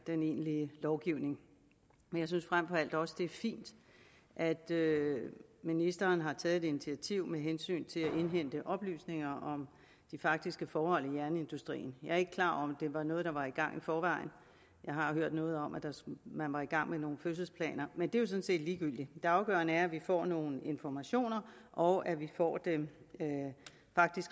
den egentlige lovgivning jeg synes frem for alt også at det er fint at ministeren har taget et initiativ med hensyn til at indhente oplysninger om de faktiske forhold i jernindustrien jeg er ikke klar over om det var noget der var i gang i forvejen jeg har hørt noget om at man var i gang med nogle fødselsplaner men det er jo sådan set ligegyldigt det afgørende er at vi får nogle informationer og at vi får dem